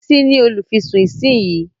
Bísí ní olùfisùn ìsínyìí